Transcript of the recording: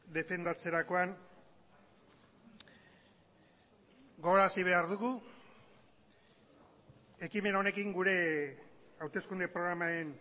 defendatzerakoan gogorarazi behar dugu ekimen honekin gure hauteskunde programaren